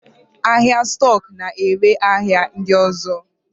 Ahịa stọk na-ere ahịa ndị ọzọ.